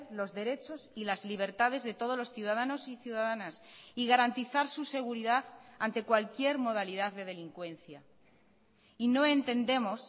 los derechos y las libertades de todos los ciudadanos y ciudadanas y garantizar su seguridad ante cualquier modalidad de delincuencia y no entendemos